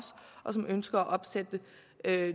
og som ønsker at